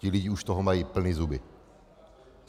Ti lidé už toho mají plné zuby.